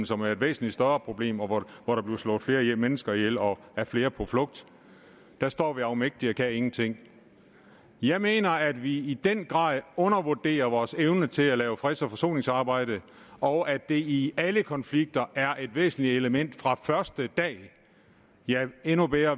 som er et væsentlig større problem og hvor der bliver slået flere mennesker ihjel og er flere på flugt der står vi afmægtige og kan ingenting jeg mener at vi i den grad undervurderer vores evne til at lave freds og forsoningsarbejde og at det i alle konflikter er et væsentligt element fra første dag ja